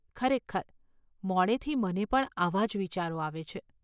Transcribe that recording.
ખરેખર મોડેથી મને પણ આવાં જ વિચારો આવે છે.